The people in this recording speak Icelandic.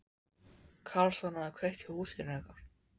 Karlsson hefði kveikt í húsinu ykkar.